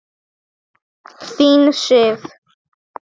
Þín Sif.